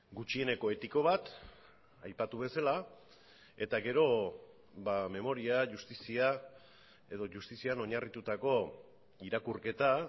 gutxieneko etiko bat aipatu bezala eta gero memoria justizia edo justizian oinarritutako irakurketa